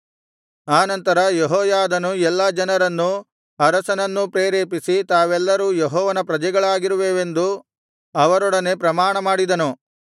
ಆ ನಂತರ ಯೆಹೋಯಾದನು ಎಲ್ಲಾ ಜನರನ್ನೂ ಅರಸನನ್ನೂ ಪ್ರೇರೇಪಿಸಿ ತಾವೆಲ್ಲರೂ ಯೆಹೋವನ ಪ್ರಜೆಗಳಾಗಿರುವೆವೆಂದು ಅವರೊಡನೆ ಪ್ರಮಾಣ ಮಾಡಿದನು